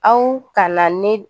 Aw kana ne